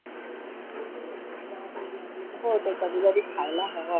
हो ते कधी कधी खायला हवं.